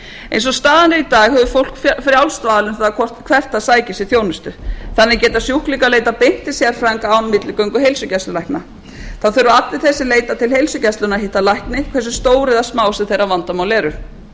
eins og staðan er í dag hefur fólk frjálst val um það hvert það sækir sér þjónustu þannig geta sjúklingar leitað beint til sérfræðinga án milligöngu heilsugæslulækna þá þurfa allir þeir sem leita til heilsugæslunnar að hitta lækni hversu stór eða smá sem þeirra vandamál eru